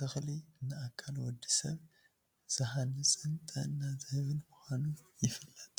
ተክሊ ንኣካል ወዲሰብ ዝሃንፅን ጥዕና ዝህብን ምኳኑ ይፍለጥ።